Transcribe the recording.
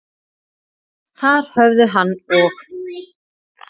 Þar höfðu hann og